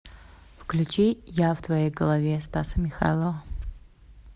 включи я в твоей голове стаса михайлова